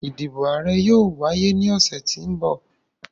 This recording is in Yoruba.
Idibo aarẹ yoo waye ni ọsẹ ti n bọ.